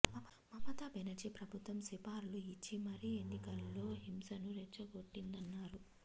మమతా బెనర్జీ ప్రభుత్వం సుపారీలు ఇచ్చి మరీ ఎన్నికల్లో హింసను రెచ్చగొట్టిందన్నారు